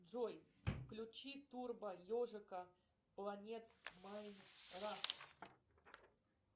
джой включи турбо ежика планет майнкрафт